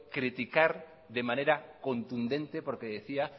criticar de manera contundente porque decía